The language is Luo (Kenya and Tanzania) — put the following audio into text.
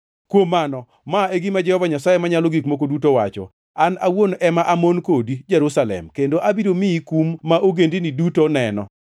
“Kuom mano, ma e gima Jehova Nyasaye Manyalo Gik Moko Duto owacho: An awuon ema amon kodi, Jerusalem, kendo abiro miyi kum ka ogendini duto neno.